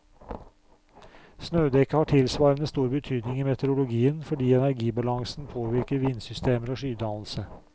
Snødekket har tilsvarende stor betydning i meteorologien fordi energibalansen påvirker vindsystemer og skydannelse.